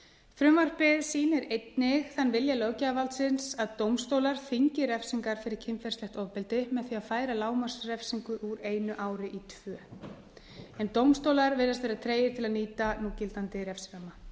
frumvarpið sýnir einnig þann vilja löggjafarvaldsins að dómstólar þyngi refsingar fyrir kynferðislegt ofbeldi með því að færa lágmarksrefsingu úr einu ári í tvö dómstólar virðast vera tregir til að nýta núgildandi refsiramma